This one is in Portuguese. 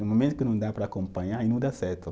No momento que não dá para acompanhar, aí não dá certo.